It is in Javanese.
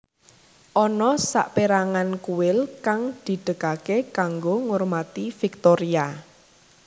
Ana saperangan kuil kang didegake kanggo ngurmati Viktoria